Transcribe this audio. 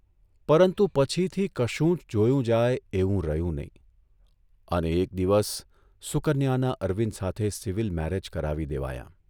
પરંતુ પછીથી કશું જ જોયું જાય એવું રહ્યું નહીં અને એક દિવસ સુકન્યાના અરવિંદ સાથે સિવિલ મેરેજ કરાવી દેવાયાં.